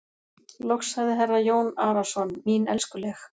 Loks sagði herra Jón Arason:-Mín elskuleg.